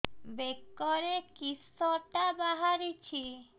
ବେକରେ କିଶଟା ବାହାରିଛି